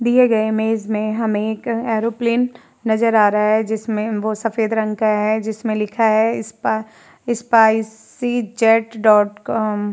ए गए इमेज में हमें एक एरोप्लन में नजर आ रहा है जिसमे वो सफ़ेद रंग का है जिसमे लिखा है स्पा स्पाइसी जेट डॉट कॉम --